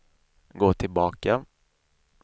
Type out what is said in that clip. gå tillbaka